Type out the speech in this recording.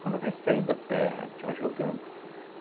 Quando vem saindo a terra, a gente vai jogando.